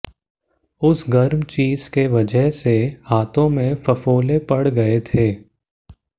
उस गर्म चीज की वजह से हाथों में फफोले पड़ गए थे